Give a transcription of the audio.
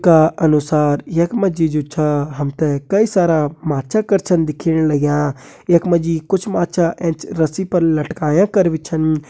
का अनुसार यखमा जी जो छा हमते कई सारा माच्छा कर छन दिख्येण लाग्यां यखमा जी कुछ माच्छा ऐंच रस्सी पर लटकायां कर भी छन।